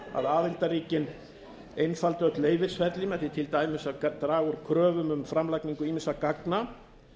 að aðildarríkin einfalda öll leyfisferli með því til dæmis að draga úr kröfum um framlagningu ýmissa gagna